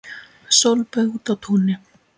Sólböð úti á túni.